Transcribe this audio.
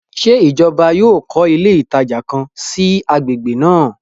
Ṣe ìjọba yóò kọ ilé ìtajà kàn sí i agbègbè náà?